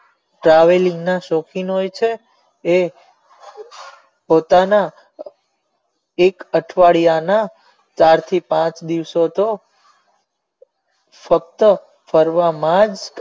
traveling ના શોખીન હોય છે એ પોતાના એક અઠવાડીયા ના ચાર થી પાંચ દિવસો તો સતત ફરવા માં જ